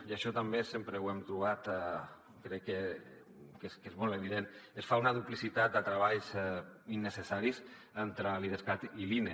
i això també sempre ho hem trobat crec que és molt evident es fa una duplicitat de treballs innecessaris entre l’idescat i l’ine